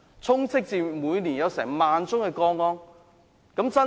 香港每年有1萬宗個案。